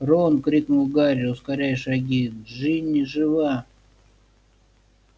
рон крикнул гарри ускоряя шаги джинни жива